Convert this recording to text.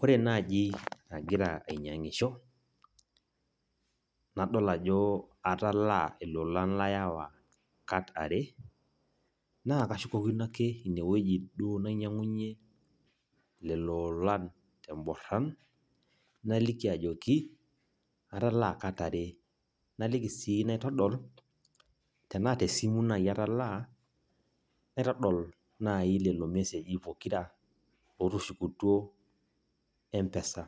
Ore naji agira ainyiangisho nadol ajo atalaa ilolan laewa kat are, naa kashukokino ake ine wueji duo nainyiangunyie lelo olan te mboran , naliki ajoki atalaa kat are. Naliki sii naitodol ,tena tesimu naji atalaa naitodol naji lelo meseji pokira otushukutuo mpesa .